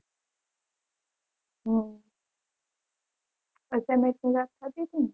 હમ assignment પુરા થઇ જશે ને